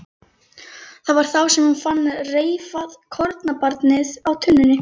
Það var þá sem hún fann reifað kornabarnið á tunnunni.